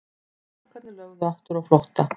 Strákarnir lögðu aftur á flótta.